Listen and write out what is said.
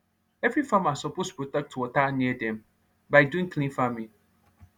every farmer suppose protect water near dem by doing clean farming